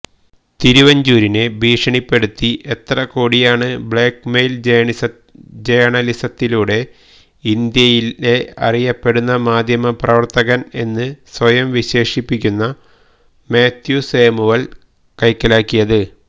തിരുവഞ്ചൂരിനെ ഭീഷണിപ്പെടുത്തി എത്ര കോടിയാണ് ബ്ളാക്മെയില് ജേണലിസത്തിലൂടെ ഇന്ത്യയിലേ അറിയപ്പെടുന്ന മാധ്യമ പ്രവര്ത്തകന് എന്ന് സ്വയം വിശേഷിപ്പുന്ന മാത്യുസാമുവല് കൈക്കലാക്കിയത്